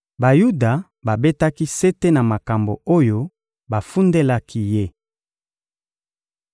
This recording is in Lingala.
Bayuda babetaki sete na makambo oyo bafundelaki ye.